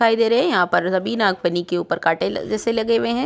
दिखाई दे रहे है यहां पर सभी नागफनी के ऊपर कांटे लग जैसे लगे हुए हैं।